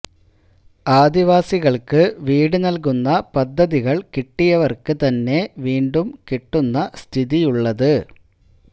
ആദിവാസികള്ക്ക് വീട് നല്കുന്ന പദ്ധതികള് കിട്ടിയവര്ക്ക് തന്നെ വീണ്ടും കിട്ടുന്ന സ്ഥിതിയുള്ളത്